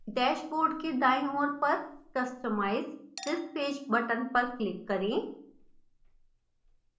dashboard के दायीं ओर पर customise this page button पर click करें